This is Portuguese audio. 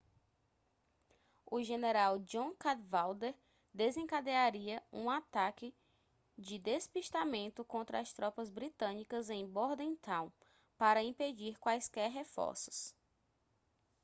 o general john cadwalder desencadearia um ataque de despistamento contra as tropas britânicas em bordentown para impedir quaisquer reforços